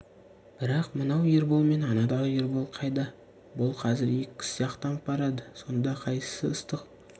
бірақ мынау ербол мен анадағы ербол қайда бұл қазір екі кісі сияқтанып барады сонда қайсысы ыстық